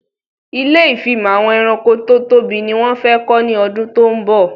Ilé ìfimọ̀ àwọn ẹranko tó tóbi ni wón fẹ kọ́ ní ọdún tó ń bọ̀